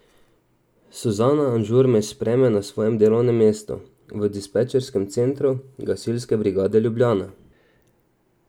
Suzana Anžur me sprejme na svojem delovnem mestu v dispečerskem centru Gasilske brigade Ljubljana.